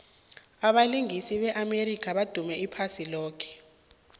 abalingisi be amerika badume iphasi loke